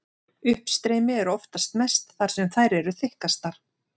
Uppstreymi er oftast mest þar sem þær eru þykkastar.